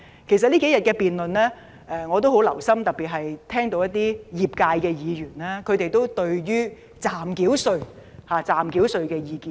我曾留心聆聽這數天的辯論，我特別聽到有代表不同業界的議員對於暫繳稅的意見。